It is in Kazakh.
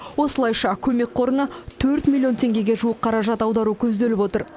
осылайша көмек қорына төрт миллион теңгеге жуық қаражат аудару көзделіп отыр